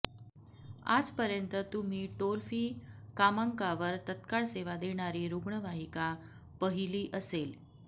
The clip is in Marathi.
आज पर्यंत तुम्ही टोलफी कामांकावर तत्काळ सेवा देणारी रुग्णवाहिका पहिली असेल